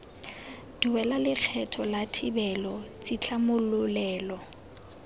duela lekgetho la thibelo tshitlhamololelo